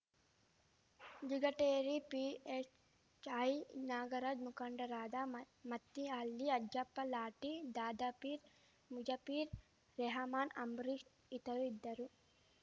Jigateri PSI Nagaraja ಮುಖಂಡರಾದ ಮ ಮತ್ತಿಹಳ್ಳಿ ಅಜ್ಜಪ್ಪ ಲಾಟಿ ದಾದಾಪೀರ್ ಮುಜಪೀರ್ ರೆಹಮಾನ್‌ ಅಂಬರೀಷ್‌ ಇತರರು ಇದ್ದರು